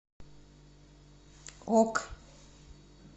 ок